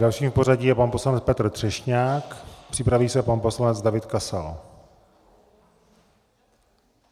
Dalším v pořadí je pan poslanec Petr Třešňák, připraví se pan poslanec David Kasal.